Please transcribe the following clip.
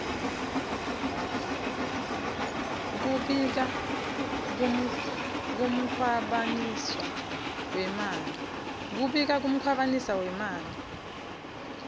kubika kukhwabaniswa kwemali